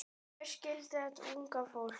Hver skildi þetta unga fólk?